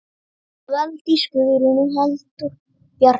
Valdís Guðrún og Halldór Bjarni.